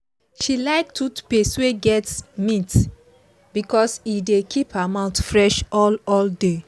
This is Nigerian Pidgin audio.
she like toothpaste wey get mint because e dey keep her mouth fresh all all day